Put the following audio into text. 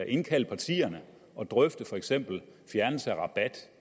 indkalde partierne og drøfte for eksempel fjernelse af rabat